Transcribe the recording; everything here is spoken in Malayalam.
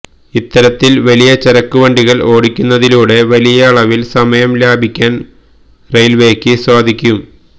ഇത്തരത്തില് വലിയ ചരക്ക് വണ്ടികള് ഓടിക്കുന്നതിലൂടെ വലിയ അളവില് സമയം ലാഭിക്കാന് റെയില്വേക്ക് സാധിക്കും